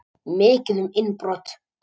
Mikið um innbrot